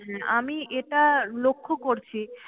হ্যাঁ আমি এটা লক্ষ্য করছি।